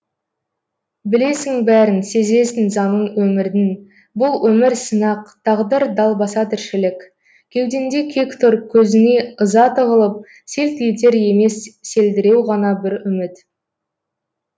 білесің бәрін сезесің заңын өмірдің бұл өмір сынақ тағдыр далбаса тіршілік кеудеңде кек тұр көзіңе ыза тығылып селт етер емес селдіреу ғана бір үміт